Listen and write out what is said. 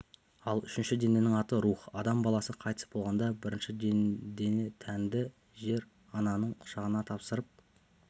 ал үшінші дененің аты рух адам баласы қайтыс болғанда бірінші дене тәнді жер-ананың құшағына тапсырып